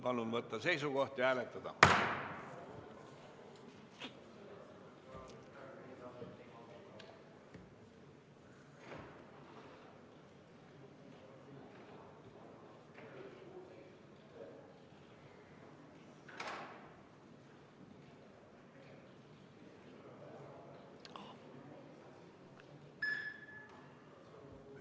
Palun võtta seisukoht ja hääletada!